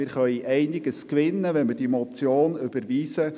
Wir können einiges gewinnen, wenn wir diese Motion überweisen.